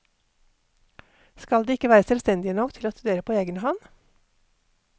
Skal de ikke være selvstendige nok til å studere på egen hånd?